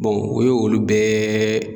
u ye olu bɛɛ